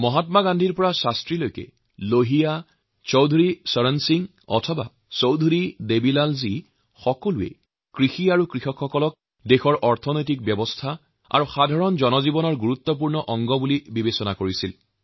মহাত্মা গান্ধীৰ কথাই যদি ধৰা যায় বা লাল বাহাদুৰ শাস্ত্ৰী জী লোহিয়া জী বা চৌধুৰী চৰণ সিং বা চৌধুৰী দেবীলাল জীএওঁলোকৰ প্ৰত্যেকেই কৃষি আৰু কৃষক ভাইভনীসকলৰ এই দেশৰ অৰ্থ ব্যৱস্থা আৰু জনজীৱনৰ এক গুৰুত্বপূৰ্ণ অংশ বুলি ধাৰণা কৰিছিল